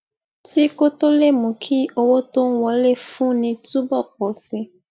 ti ko to lè mú kí owó tó ń wọlé fúnni túbò pò sí i